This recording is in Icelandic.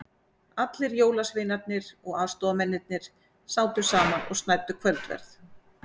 Allir jólasveinarnir og aðstoðamennirnir sátu saman og snæddu kvöldverð.